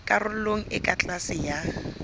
karolong e ka tlase ya